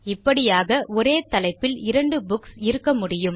இப்படியாக ஒரே தலைப்பில் இரண்டு புக்ஸ் இருக்க முடியும்